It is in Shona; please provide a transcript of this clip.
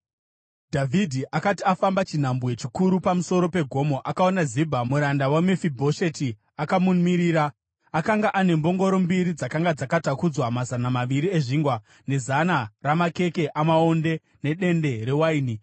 Dhavhidhi akati afamba chinhambwe chiduku pamusoro pegomo, akaona Zibha, muranda waMefibhosheti akamumirira. Akanga ane mbongoro mbiri dzakanga dzakatakudzwa mazana maviri ezvingwa, nezana ramakeke amaonde nedende rewaini.